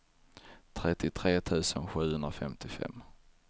trettiotre tusen sjuhundrafemtiofem